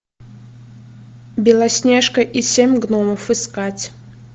белоснежка и семь гномов искать